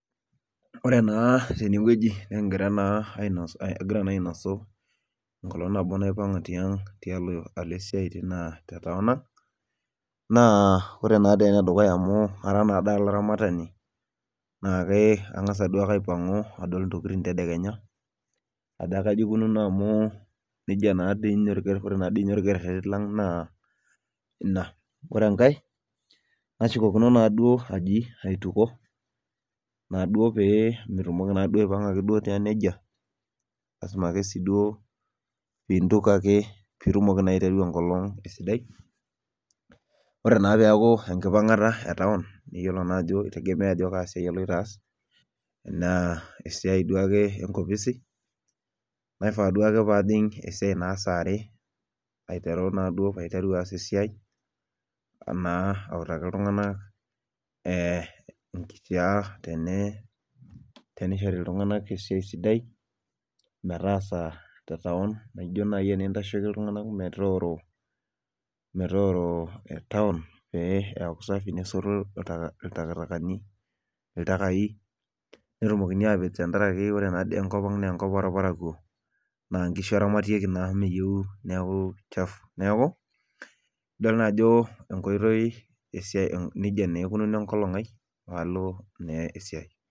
Ore ena tenewueji nikingira naa agira na ainosu enkolong nabo naipanga alo esiai alo tenkopang na ore enedukuya na kara olaramatani na ke kangasa duo ake aipangu nadol ntokitin tedekenya ajo kaja eikununo amu neji natii ninye etiu ore orkereri lang na inabore enkae nashukokina na aji aituko peyie amu mitumoki duake aipanga tiang nejia lasima ake piduo pintuko ake pitumoki aiteru enkolong ore enkimpangata e taun kitegemea ajo kaa siai iloito aas na esiai duo ake enkopisi naifaa duoa ake pajing esiai saare paiteru na ajing esiai naabautaki ltunganak nkisiyak enye tenishori ltunganak esiaia sidai tetaun nijo nai pintashieki ltunganak metoooro taun metaasafi nesoti ltakai netumoki atepej tenkaraki ore enkop aang na enkop orparakuo na nkishuberamatieki neaku meyiau naa chafu idol naajo nji ikununo enkolong aai palo na esiai.